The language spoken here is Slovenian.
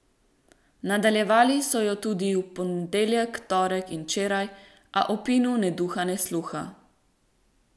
Nadaljevali so jo tudi v ponedeljek, torek in včeraj, a o Pinu ne duha ne sluha.